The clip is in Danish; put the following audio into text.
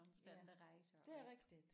Ja det er rigtigt